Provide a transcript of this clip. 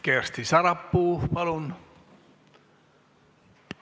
Kersti Sarapuu, palun!